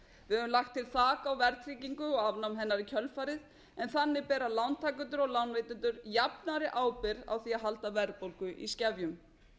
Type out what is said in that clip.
við höfum lagt til þak á verðtryggingu og afnám hennar í kjölfarið en þannig bera lántakendur og lánveitendur jafnari ábyrgð á því að halda verðbólgu í skefjum